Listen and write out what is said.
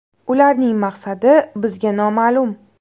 Ularning maqsadi bizga noma’lum.